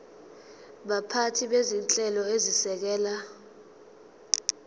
baphathi bezinhlelo ezisekela